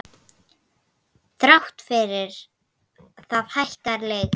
Þrátt fyrir það hækkar leigan.